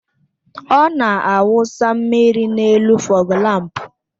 Ọ na-awụsa mmiri n'elu fọgu lámpu